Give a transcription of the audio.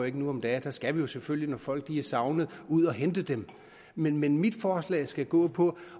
ikke nu om dage der skal vi jo selvfølgelig når folk er savnet ud og hente dem men mit mit forslag skal gå på